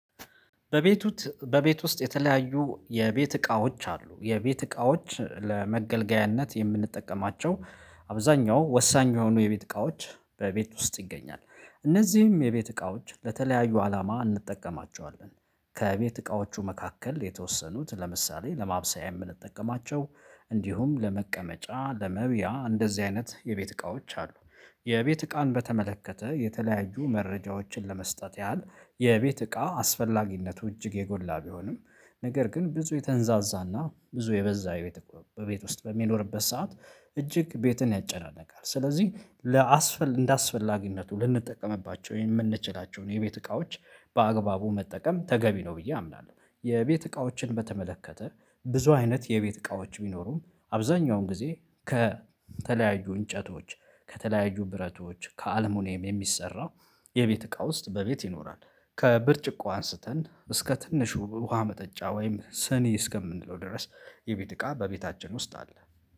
በቤቱ በቤት ውስጥ የተለያዩ የቤት እቃዎች አሉ የቤት እቃዎች ለመገልገያነት የምንጠቀማቸው አብዛኛው ወሳኝ የሆኑ የቤት እቃወች በቤት ውስጥ ይገኛሉ እነዚህም የቤት ዕቃወችን ለተለያዩ አላማ እንጠቀማቸዋለን ከቤት እቃዎቹ መካከል የተወሰኑት ለምሳሌ ለማብሰያ የምንጠቀማቸው እንዲሁም ለመቀመጫ ለመብያ እንደዚህ አይነት የቤት እቃዎች አሉ። የቤት እቃን በተመለከተ የተለያዩ መረጃዎችን ለመስጠት ያህል የቤት እቃ አስፈላጊነቱ እጅግ የጎላ ቢሆንም ነገር ግን ብዙ የተንዛዛና ብዙ የበዛ ቤት እቃ በቤት ውስጥ በሚኖርበት ሰዓት እጅግ ቤትን ያጨናነቃል ስለዚህ እንደአስፈላጊነቱ ልንጠቀምባቸው የምንችላቸውን የቤት እቃዎች በአግባቡ መጠቀም ተገቢ ነው ብዬ አምናለሁ። የቤት እቃዎችን በተመለከተ ብዙ አይነት የቤት እቃዎች ቢኖሩም አብዛኛውን ጊዜ ከተለያዩ እንጨቶች ከተለያዩ ብረቶች ከአልሙኒየም የሚሰራው የቤት እቃ ውስጥ በቤት ይኖራል። ከብርጭቆ አንስተን እስከ ትንሹ ውሃ መጠጫ ወይም ስኒ እስከምንለው ድረስ የቤት እቃ በቤታችን ውስጥ አለ።